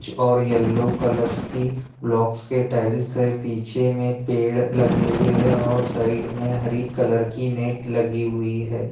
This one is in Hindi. और येल्लो कलर्स की ब्लॉक्स के टाइल्स है पीछे मे पेड़ लगे हुए है और साइड मे हरी कलर की नेट लगी हुई है।